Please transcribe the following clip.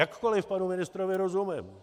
Jakkoli panu ministrovi rozumím.